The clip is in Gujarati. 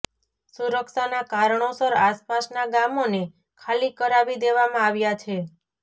સુરક્ષાના કારણોસર આસપાસના ગામોને ખાલી કરાવી દેવામાં આવ્યા છે